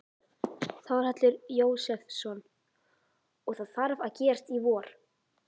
Þórhallur Jósefsson: Og það þarf að gerast í vor?